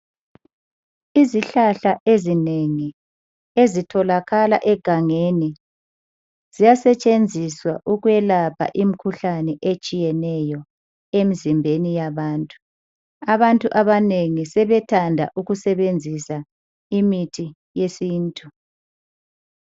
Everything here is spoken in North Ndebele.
Izihlahla ezinengi ezitholakala egangeni ziyasetshenziswa ukwelapha imikhuhlane etshiyeneyo emzimbeni yabantu. Abantu abanengi sethanda ukusebenzisa imithi yesintu.